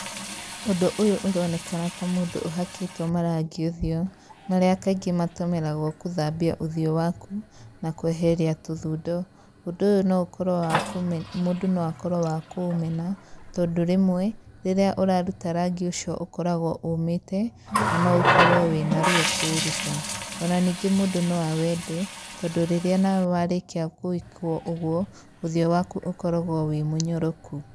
Ũndũ ũyũ ũronekana ta mũndũ ũhakĩtwo marangi ũthiũ, marĩa kaingĩ matũmĩragwo gũthambia ũthiũ waku, na kweheria tũthundo. Ũndũ ũyũ no ũkorwo wa , mũndũ no akorwo wa kũũmena tondũ rĩmwe, rĩrĩa ũraruta rangi ũcio, ũkoragwo ũmĩte na no ũkorwo wĩna ruo kũũruta, ona ningĩ mũndũ no awende, tondũ rĩrĩa nawe warĩkia gwĩkwo ũguo ũthiũ waku ũkoragwo wĩ mũnyoroku.